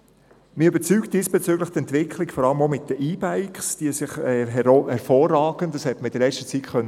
Mich überzeugt diesbezüglich die Entwicklung vor allem betreffend die E-Bikes, die sich gerade auch für den Berufsverkehr hervorragend eignen.